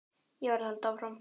Ég verð að halda áfram.